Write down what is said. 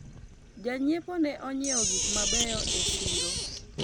janyiepo ne onyiewo gik mabeyo e siro